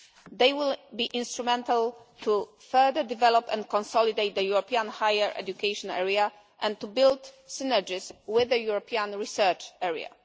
They will be instrumental to further develop and consolidate the European higher education area and to build synergies with the European research area.